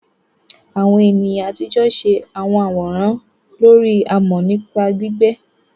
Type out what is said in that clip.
Àwọn ènìyàn àtijọ́ ṣe àwọn àwòrán lórí amọ̀ nípa gbígbẹ́.